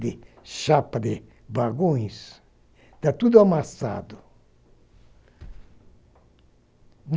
de chapa de vagões, está tudo amassado.